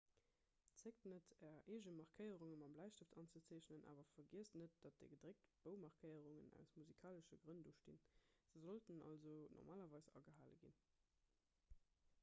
zéckt net är eege markéierunge mam bläistëft anzezeechnen awer vergiesst net datt déi gedréckt boumarkéierungen aus musikalesche grënn do stinn se sollten also normalerweis agehale ginn